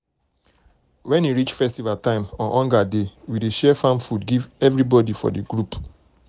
when e reach festival time or hunger dey we dey share farm food give everybody for the group.